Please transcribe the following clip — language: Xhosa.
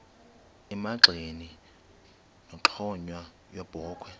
emagxeni nenxhowa yebokhwe